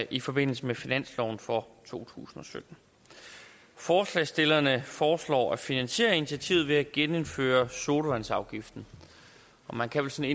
i forbindelse med finansloven for to tusind og sytten forslagsstillerne foreslår at finansiere initiativet med at genindføre sodavandsafgiften man kan